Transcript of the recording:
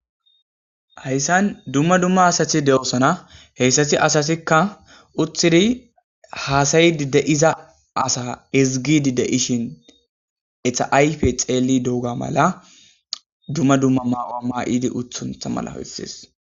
Heyssan dumma dumma asathi de7osana heyssati asasikka uthidi haasayidi deiza asa izgidi de7ishin etaayfe xeeli doga mala dumma dumma maawaa maa7idi uthuntha mala hoyssees.